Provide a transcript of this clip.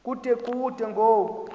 kude kube ngoku